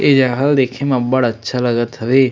ए जगह ल देखे म अब्बड़ अच्छा लगत हवे।